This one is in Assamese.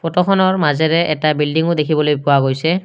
ফটোখনৰ মাজেৰে এটা বিল্ডিংও দেখিবলৈ পোৱা গৈছে।